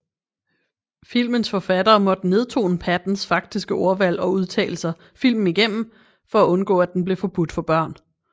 Filmens forfattere måtte nedtone Pattons faktiske ordvalg og udtalelser filmen igennem for at undgå at den blev forbudt for børn